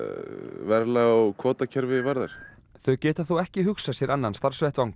verðlag og kvótakerfi varðar þau geta þó ekki hugsað sér annan starfsvettvang